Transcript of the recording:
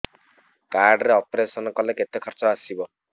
card ରେ operation କଲେ କେତେ ଖର୍ଚ ଆସିବ